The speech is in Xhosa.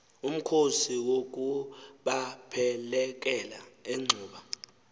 umkhosi wokubaphelekela enxuba